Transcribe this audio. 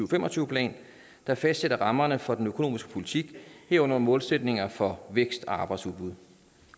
fem og tyve plan der fastsætter rammerne for den økonomiske politik herunder målsætninger for vækst og arbejdsudbud